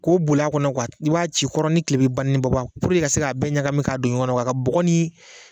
K'o boli a kɔnɔ i b'a ci kɔrɔn ni kilebin ni ba ni baba puruke i ka se k'a bɛɛ ɲagami ka don ɲɔgɔn ka bɔgɔ ni